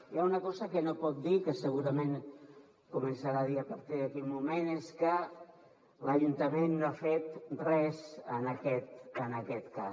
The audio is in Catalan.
hi ha una cosa que no pot dir que segurament començarà a dir a partir d’aquí un moment i és que l’ajuntament no ha fet res en aquest cas